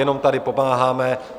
Jenom tady pomáháme.